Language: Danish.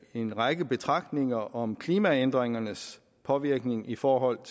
en række betragtninger om klimaændringernes påvirkning i forhold